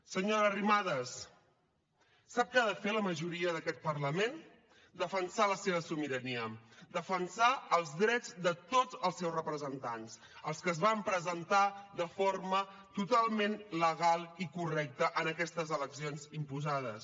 senyora arrimadas sap què ha de fer la majoria d’aquest parlament defensar la seva sobirania defensar els drets de tots els seus representants els que es van presentar de forma totalment legal i correcta en aquestes eleccions imposades